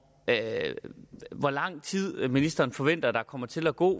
hvor lang tid ministeren forventer at der kommer til at gå